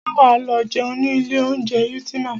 Ṣé wà á lọ jẹun ní ilé oúnjẹ Ultima?